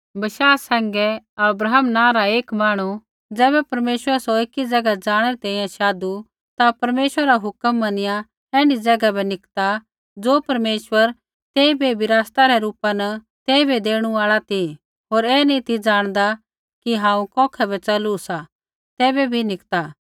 बशाह सैंघै अब्राहम नाँ रा एक मांहणु ज़ैबै परमेश्वरै सौ एकी ज़ैगा जाणै री तैंईंयैं शाधु ता परमेश्वरै रा हुक्म मनिया ऐण्ढी ज़ैगा बै निकता ज़ो परमेश्वर तेइबै विरासता रै रूपा न तेइबै देणु आल़ा ती होर ऐ नी ती ज़ाणदा कि हांऊँ कौखै बै च़लू सा तैबै भी निकता